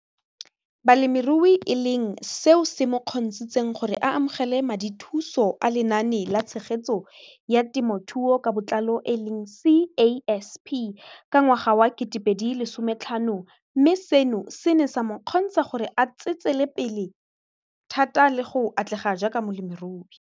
Balemirui e leng seo se mo kgontshitseng gore a amogele madithuso a Lenaane la Tshegetso ya Te mothuo ka Botlalo, CASP] ka ngwaga wa 2015, mme seno se ne sa mo kgontsha gore a tsetsepele thata le go atlega jaaka molemirui.